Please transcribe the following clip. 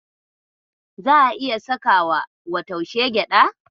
Za'a iya sakawa wa taushe gyaɗa.